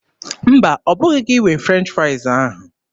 Mba, ọbụghị gị nwe French fraịz ahụ.